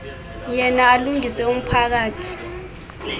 yena alungise umphakathi